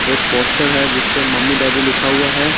एक पोस्टर है जिसपे मम्मी डैडी लिखा हुआ है।